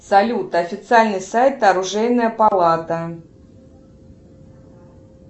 салют официальный сайт оружейная палата